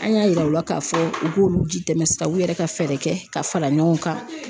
An y'a yira u la k'a fɔ u k'olu jitɛmɛ sira u yɛrɛ ka fɛɛrɛ kɛ ka fara ɲɔgɔn kan.